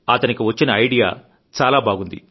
అతనికి వచ్చిన ఐడియా చాలా బాగుంది